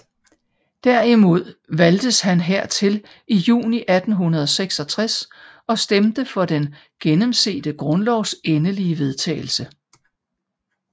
Derimod valgtes han hertil i juni 1866 og stemte for den gennemsete grundlovs endelige vedtagelse